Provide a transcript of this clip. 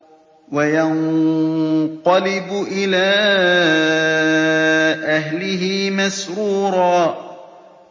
وَيَنقَلِبُ إِلَىٰ أَهْلِهِ مَسْرُورًا